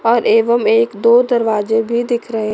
और एवं एक दो दरवाजे भी दिख रहे--